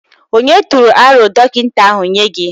Ònye tụrụ aro dọkịta ahụ nye gị?